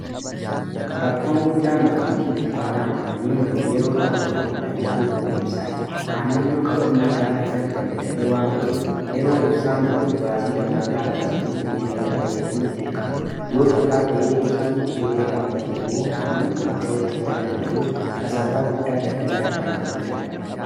Rakkoon guddaan abbootii dukkaanaa aannanii mudatu yeroo tokko tokko addaan citu humna ibsaa ti aannan yoo qabannaa ga'aa hin arganne dafee waan baduuf yeroo ibsaan badu baasii dabalataa baasanii jinireetara fayyadamuuf dirqamu yoo carraa ta'ee ibsaan turtii dheeraaf badee immoo aannan kun cooccuu waan danda'uuf kasaaraa guddaa daldalaa irraan gahuu danda'a